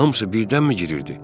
Hamısı birdənmi girirdi?